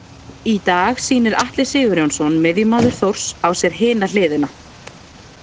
Í dag sýnir Atli Sigurjónsson miðjumaður Þórs á sér hina hliðina.